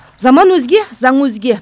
заман өзге заң өзге